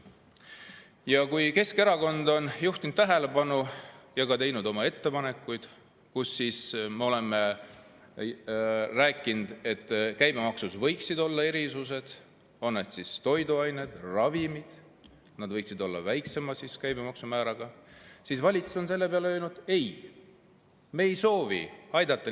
Ja kui Keskerakond on juhtinud tähelepanu ja teinud ettepanekuid, et käibemaksus võiksid olla erisused, on need siis toiduained või ravimid, et need võiksid olla väiksema käibemaksu määraga, siis valitsus on selle peale öelnud: ei, me ei soovi neid inimesi aidata.